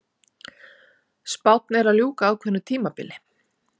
Spánn er að ljúka ákveðnu tímabili.